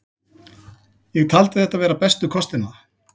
Ég taldi þetta vera bestu kostina.